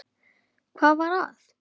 Hvað var að?